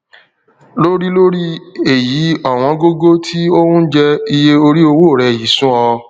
lórí lórí èyí ọwọn gógó tí ó ń jẹ iye orí owó rẹ yìí sú ọ